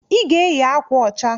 I ga-eyi akwa ọcha!